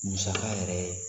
Musaka yɛrɛ